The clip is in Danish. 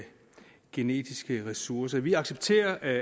genetiske ressourcer vi accepterer at